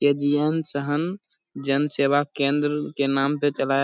यह के.जी.एन सहन जन सेवा केंद्र के नाम पे चलाया --